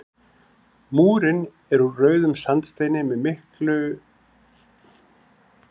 Múrinn er úr rauðum sandsteini með tilkomumiklu hliði andspænis grafhýsinu.